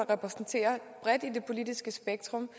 repræsenteret i det politiske spektrum